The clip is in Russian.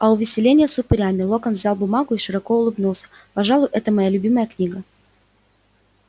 а увеселение с упырями локонс взял бумагу и широко улыбнулся пожалуй это моя любимая книга